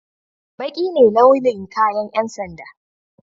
Baƙi ne launin kayan yan sanda.